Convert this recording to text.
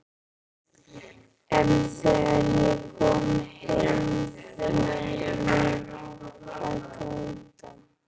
En þegar ég kom heim fór ég að gráta.